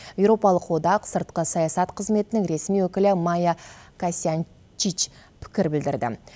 еуропалық одақ сыртқы саясат қызметінің ресми өкілі майя косьянчич пікір білдірді